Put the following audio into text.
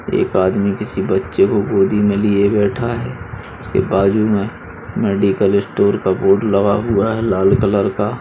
एक आदमी किसी बच्चे को गोदी में लिए बैठा है उसके बाजु में मेडिकल स्टोर का बोर्ड लगा हुआ है लाल कलर का|